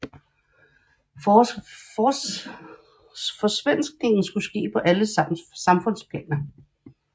Forsvenskningen skulle ske på alle samfundsplaner